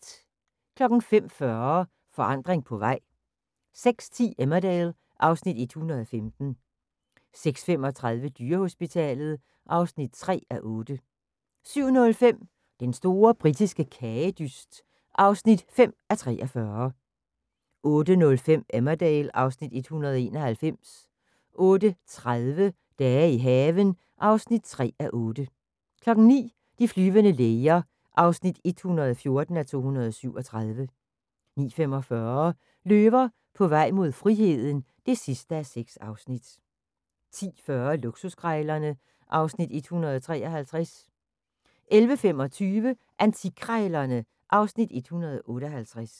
05:40: Forandring på vej 06:10: Emmerdale (Afs. 115) 06:35: Dyrehospitalet (3:8) 07:05: Den store britiske kagedyst (5:43) 08:05: Emmerdale (Afs. 191) 08:30: Dage i haven (3:8) 09:00: De flyvende læger (114:237) 09:45: Løver på vej mod friheden (6:6) 10:40: Luksuskrejlerne (Afs. 153) 11:25: Antikkrejlerne (Afs. 158)